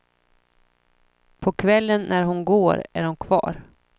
På kvällen när hon går är de kvar.